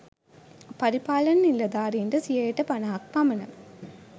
පරිපාලන නිළධාරීන්ට සියයට පණහක් පමණ